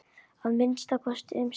Að minnsta kosti um stund.